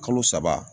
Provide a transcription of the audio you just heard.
Kalo saba